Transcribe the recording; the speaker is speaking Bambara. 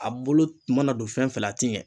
A bolo mana don fɛn fɛn la a ti ɲɛ